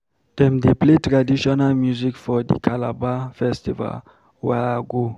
Dem dey play traditional music for di Calabar Festival wey I go.